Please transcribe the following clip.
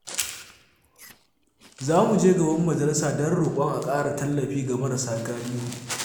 Za mu je gaban majalisa don roƙon a ƙara tallafi ga marasa galihu.